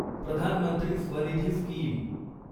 Pradhan Mantri Swanidhi scheme